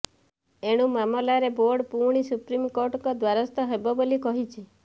ଏଣୁ ମାମଲାରେ ବୋର୍ଡ ପୁଣି ସୁପ୍ରିମକୋର୍ଟଙ୍କ ଦ୍ୱାରସ୍ଥ ହେବ ବୋଲି କହିଛି